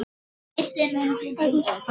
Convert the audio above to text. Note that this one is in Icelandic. Þetta var svartur litur.